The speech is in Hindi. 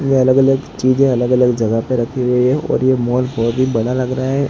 ये अलग अलग चीजे अलग अलग जगह पे रखी हुई है और ये मॉल बहोत ही बड़ा लग रहा है।